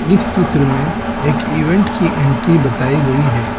इस चित्र में एक इवेंट की एंट्री बताई गई है।